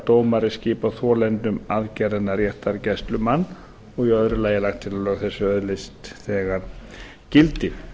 dómari skipa þolendum aðgerðarinnar réttargæslumann og í öðru lagi er lagt til að lög þessi öðlist þegar gildi